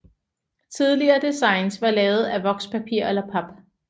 Tidligere designs var lavet af vokspapir eller pap